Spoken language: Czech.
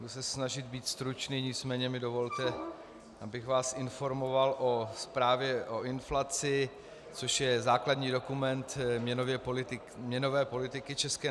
Budu se snažit být stručný, nicméně mi dovolte, abych vás informoval o zprávě o inflaci, což je základní dokument měnové politiky ČNB.